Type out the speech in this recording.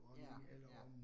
Ja, ja